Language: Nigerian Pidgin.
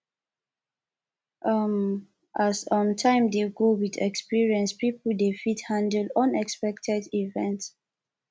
um as um time dey go with experience pipo dey fit handle unexpected events